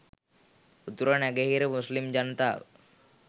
උතුරු නැගෙනහිර මුස්ලිම් ජනතාව